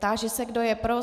Táži se, kdo je pro.